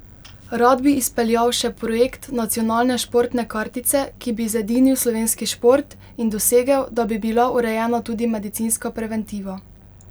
Rad bi izpeljal še projekt nacionalne športne kartice, ki bi zedinil slovenski šport, in dosegel, da bi bila urejena tudi medicinska preventiva.